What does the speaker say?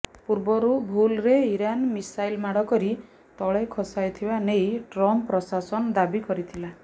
ପୂର୍ବରୁ ଭୁଲ୍ରେ Iran missile ମାଡ଼ କରି ତଳେ ଖସାଇଥିବା ନେଇ ଟ୍ରମ୍ପ ପ୍ରଶାସନ ଦାବି କରିଥିଲା